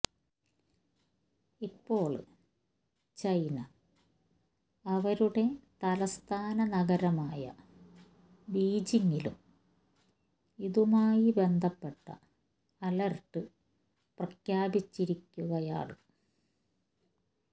ഇപ്പോള് ചൈന അവ രുടെ തലസ്ഥാനനഗരമായ ബീജിംഗിലും ഇതുമായി ബന്ധപ്പെട്ട അലെര്ട്ട് പ്രഖ്യാപിച്ചിരിക്കുകയാണ്